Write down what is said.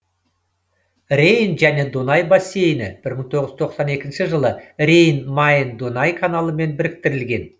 рейн және дунай бассейні бір мың тоғыз жүз тоқсан екінші жылы рейн майн дунай каналымен біріктірілген